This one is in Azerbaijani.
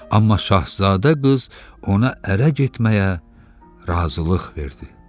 Amma Şahzadə qız ona ərə getməyə razılıq verdi.